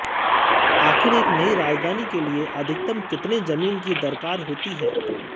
आखिर एक नयी राजधानी के लिए अधिकतम कितने जमीन की दरकार होती है